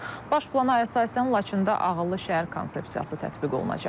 Baş plana əsasən Laçında ağıllı şəhər konsepsiyası tətbiq olunacaq.